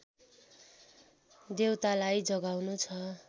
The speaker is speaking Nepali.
देवतालाई जगाउनु छ